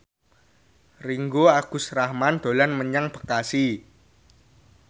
Ringgo Agus Rahman dolan menyang Bekasi